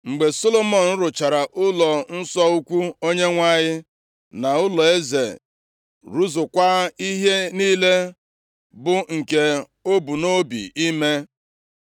Mgbe Solomọn rụchara ụlọnsọ ukwu Onyenwe anyị, na ụlọeze, rụzukwaa ihe niile bụ nke o bu nʼobi ime,